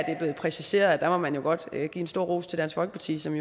er blevet præciseret og der må man jo godt give en stor ros til dansk folkeparti som